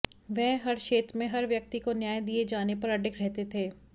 वह हर क्षेत्र में हर व्यक्ति को न्याय दिए जाने पर अडिग रहते थे